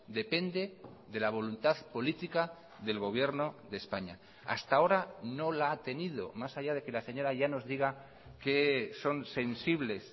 depende de la voluntad política del gobierno de españa hasta ahora no la ha tenido más allá de que la señora llanos diga que son sensibles